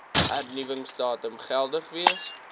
hernuwingsdatum geldig wees